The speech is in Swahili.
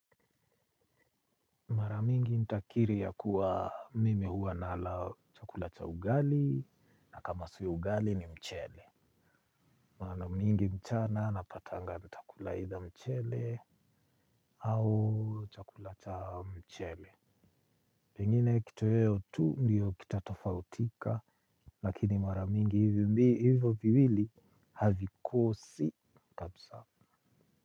Mara mingi nitakiri ya kuwa mimi hua nala chakula cha ugali na kama sio ugali ni mchele. Mara mingi mchana napatanga ntakula either mchele au chakula cha mchele. Pengine kitoweo tu ndiyo kitatofautika lakini mara mingi hivo viwili havikosi kapsa.